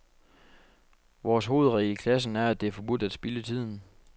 Vores hovedregel i klassen er, at det er forbudt at spilde tiden.